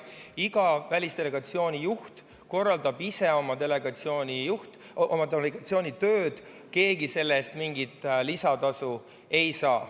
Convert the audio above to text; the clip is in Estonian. Iga välisdelegatsiooni juht korraldab ise oma delegatsiooni tööd ja keegi selle eest mingit lisatasu ei saa.